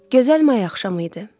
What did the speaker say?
Gözəl may axşamı idi.